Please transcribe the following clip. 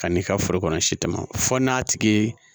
Ka n'i ka foro kɔnɔ si tɛmɛ fɔ n'a tigi ye